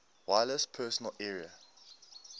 wireless personal area